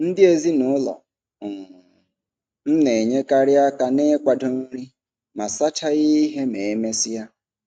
Ndị ezinụụlọ um m na-enyekarị aka n'ịkwado nri ma sachaa ihe ma e mesịa.